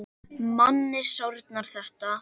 Manni sárnar þetta.